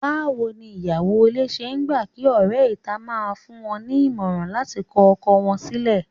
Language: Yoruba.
Báwo ni ìyàwó ilé ṣe ń gbà kí ọ̀rẹ́ ìta máa fún wọn ní ìmọ̀ràn láti kọ ọkọ wọn sílẹ̀?